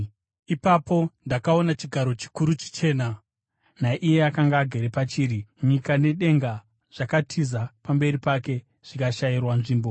Ipapo ndakaona chigaro chikuru chichena naiye akanga agere pachiri. Nyika nedenga zvakatiza pamberi pake, zvikashayirwa nzvimbo.